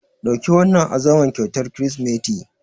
Ɗauki wannan azaman kyautar Kirsimeti.